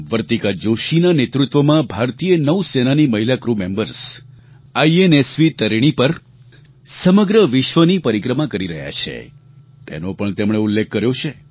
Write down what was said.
વર્તિકા જોશીના નેતૃત્વમાં ભારતીય નૌ સેનાની મહિલા ક્રૂ મેમ્બર્સ આઈએનએસવી તરિણી પર સમગ્ર વિશ્વની પરિક્રમા કરી રહ્યાં છે તેનો પણ તેમણે ઉલ્લેખ કર્યો છે